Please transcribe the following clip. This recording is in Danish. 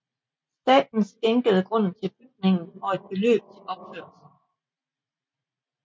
Staten skænkede grunden til bygningen og et beløb til opførelsen